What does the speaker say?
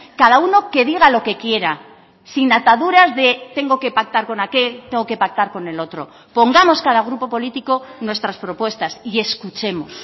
cada uno que diga lo que quiera sin ataduras de tengo que pactar con aquel tengo que pactar con el otro pongamos cada grupo político nuestras propuestas y escuchemos